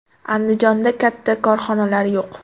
Andijonda katta korxonalar yo‘q.